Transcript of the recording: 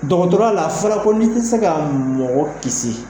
Dɔgɔtɔrɔya la a fɔra ko n tɛ se ka mɔgɔ kisi